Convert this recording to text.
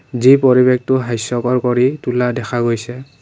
যি পৰিৱেশতো হাস্যকৰ কৰি তোলা দেখা গৈছে।